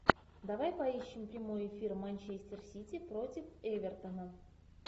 давай поищем прямой эфир манчестер сити против эвертона